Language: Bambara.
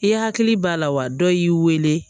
I hakili b'a la wa dɔ y'i weele